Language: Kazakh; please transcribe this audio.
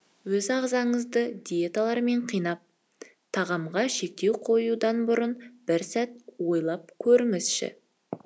өз ағзаңызды диеталармен қинап тағамға шектеу қоюдан бұрын бір сәт ойлап көріңізші